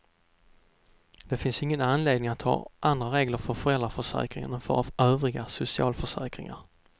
Det finns ingen anledning att ha andra regler för föräldraförsäkringen än för övriga socialförsäkringar.